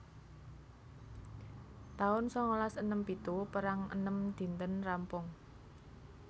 taun sangalas enem pitu Perang enem dinten rampung